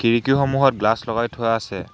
খিৰিকীসমূখত glass লগাই থোৱা আছে।